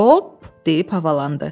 Hop deyib havalandı.